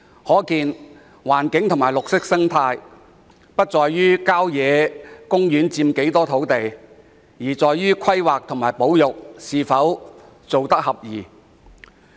可見，保護環境及維持綠色生態的要素，不在於郊野公園佔多少土地，而在於規劃及保育措施是否奏效。